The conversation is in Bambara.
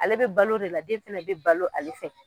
Ale bɛ balo o de la, den fɛnɛ bɛ balo ale fɛ.